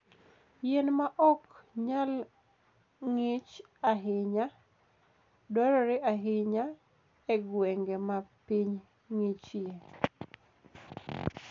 Yien ma ok nyal ng'ich ahinya dwarore ahinya e gwenge ma piny ng'ichie.